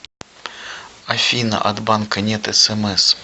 афина от банка нет смс